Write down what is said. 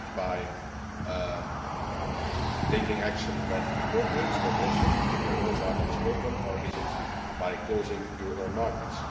Is it by taking action when appropriate but also keeping your own markets open, or is it by closing your own markets?